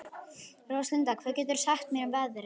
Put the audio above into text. Róslinda, hvað geturðu sagt mér um veðrið?